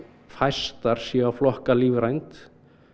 fæstar séu að flokka lífrænt